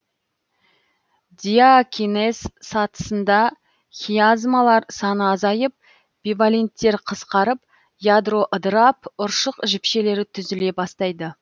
диакинез сатысында хиазмалар саны азайып биваленттер қысқарып ядро ыдырап ұршық жіпшелері түзіле бастайды